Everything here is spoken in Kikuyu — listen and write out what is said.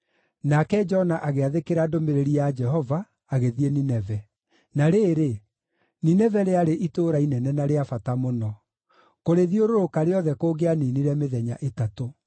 Nake Jona agĩathĩkĩra ndũmĩrĩri ya Jehova, agĩthiĩ Nineve. Na rĩrĩ, Nineve rĩarĩ itũũra inene na rĩa bata mũno. Kũrĩthiũrũrũka rĩothe kũngĩaninire mĩthenya ĩtatũ.